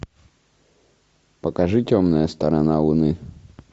покажи темная сторона луны